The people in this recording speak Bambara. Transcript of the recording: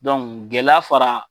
gɛlɛya fara